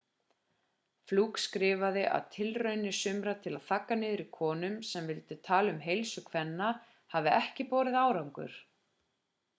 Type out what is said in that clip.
fluke skrifaði að tilraunir sumra til að þagga niður í konum sem vildu tala um heilsu kvenna hafi ekki borið árangur